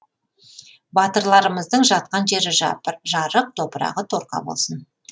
батырларымыздың жатқан жері жарық топырағы торқа болсын